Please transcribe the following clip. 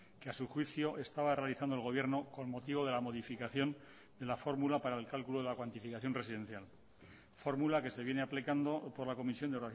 que a su juicio estaba realizando el gobierno con motivo de la modificación en la fórmula para el cálculo de la cuantificación residencial fórmula que se viene aplicando por la comisión de